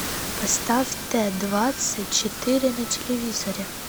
поставь т двадцать четыре на телевизоре